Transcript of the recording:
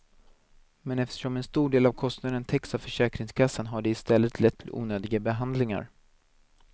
Men eftersom en stor del av kostnaden täcks av försäkringskassan har det i stället lett till onödiga behandlingar.